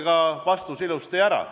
Kuulake vastus kenasti ära.